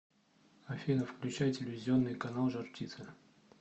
афина включай телевизионный канал жар птица